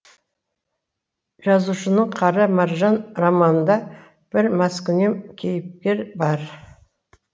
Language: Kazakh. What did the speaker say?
жазушының қара маржан романында бір маскүнем кейіпкер бар